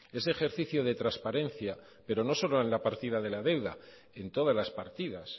ese ejercicio de transparencia pero no solo en la partida de la deuda en todas las partidas